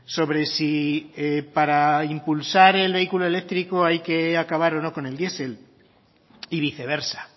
sobre si para impulsar el vehículo eléctrico hay que acabar o no con el diesel y viceversa